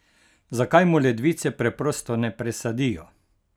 Zakaj mu ledvice preprosto ne presadijo?